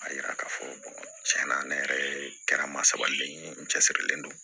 A yira k'a fɔ tiɲɛ na ne yɛrɛ kɛra n ma sabali ye n cɛsirilen don